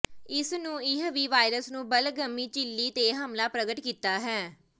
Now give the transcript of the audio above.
ਇਸ ਨੂੰ ਇਹ ਵੀ ਵਾਇਰਸ ਨੂੰ ਬਲਗਮੀ ਝਿੱਲੀ ਤੇ ਹਮਲਾ ਪ੍ਰਗਟ ਕੀਤਾ ਹੈ